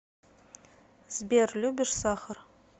сбер любишь сахар